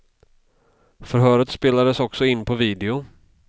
Förhöret spelades också in på video.